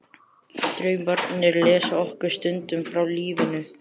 Draumarnir leysa okkur stundum frá lífinu.